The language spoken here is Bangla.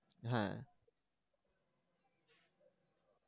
হ্যা